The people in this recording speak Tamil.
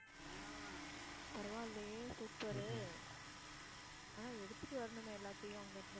பரவால்லையே super உ. ஆனா எடுத்துட்டு வரணுமே எல்லாத்தையும் அங்கிருந்து